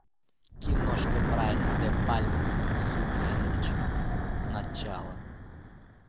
киношка брайана де пальма судная ночь начало